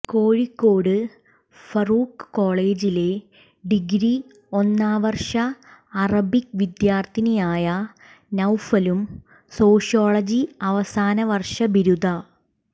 കോഴിക്കോട് ഫാറൂഖ് കോളജിലെ ഡിഗ്രി ഒന്നാം വര്ഷ അറബിക് വിദ്യാര്ഥിയായ നൌഫലും സോഷ്യോളജി അവസാന വര്ഷ ബിരുദ